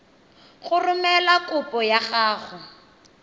go romela kopo ya gago